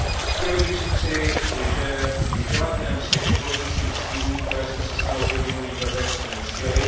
Chtěl bych říci, že v žádném z těch ekologických cílů, které jsme si stanovili v minulých letech, jsme neuspěli.